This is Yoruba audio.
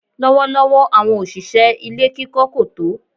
Lọ́wọ́lọ́wọ́ àwọn òṣìṣẹ́ ilé kíkọ́ kò tó.